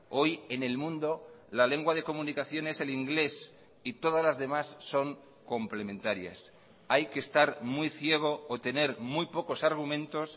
hoy en el mundo la lengua de comunicación es el inglés y todas las demás son complementarias hay que estar muy ciego o tener muy pocos argumentos